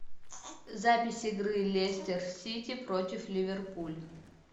запись игры лестер сити против ливерпуль